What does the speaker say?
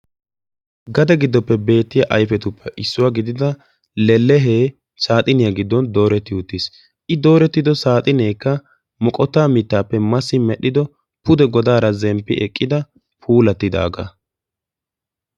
Gade giddoppe beettiyaa ayfetuppe issuwaa gidida lellehe saaxiniyaa giddon dooretti uttiis. i dooretti uttido saaxineekka qassi moqottaa mittaappe masidi medhdhido pude godaara zemppi eqqida puulattidagaa.